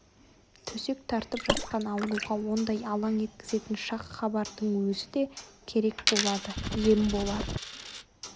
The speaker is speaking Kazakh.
төсек тартып жатқан ауруға ондай алаң еткізетін шақ хабардың өзі де керек болады ем болар